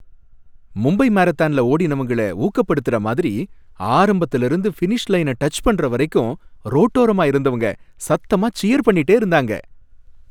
மும்பை மராத்தான்ல ஓடினவங்கள ஊக்கப்படுத்தர மாதிரி ஆரம்பதுல இருந்து பினிஷ் லைன டச் பண்ற வரைக்கும் ரோட்டோரமா இருந்தவங்க சத்தமா சியர் பண்ணிட்டே இருந்தாங்க.